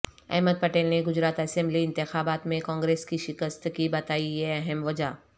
احمد پٹیل نے گجرات اسمبلی انتخابات میں کانگریس کی شکست کی بتائی یہ اہم وجہ